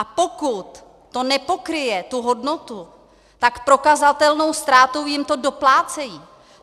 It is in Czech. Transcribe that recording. A pokud to nepokryje tu hodnotu, tak prokazatelnou ztrátou jim to doplácejí.